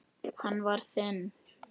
Hann var þinn.